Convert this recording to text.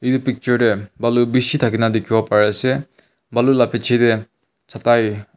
etu picture deh balu bishi thakina dikhiwo pari asey balu la pichey deh chatai--